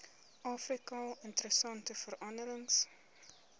afrika interessante veranderings